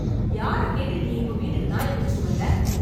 யாரைக் கேட்டு நீ இப்ப வீட்டுக்கு நாயை புடிச்சிட்டு வந்த?